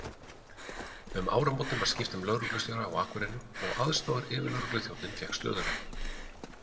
Um áramótin var skipt um lögreglustjóra á Akureyri og aðstoðaryfirlögregluþjónninn fékk stöðuna.